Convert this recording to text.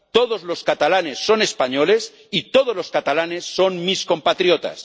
Todos los catalanes son españoles y todos los catalanes son mis compatriotas.